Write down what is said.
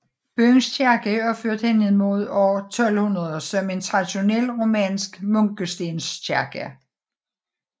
Byens kirke er opført henimod år 1200 som en traditionel romansk munkestenskirke